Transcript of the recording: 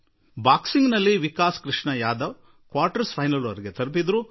boxing ನಲ್ಲಿ Vikas Krishan Yadav quarter finals ವರೆಗೆ ತಲುಪಿದರು